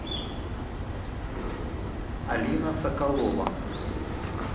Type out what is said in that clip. алина соколова